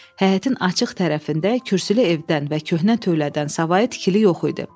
Həyətin açıq tərəfində kürsülü evdən və köhnə tövlədən savayı tikili yox idi.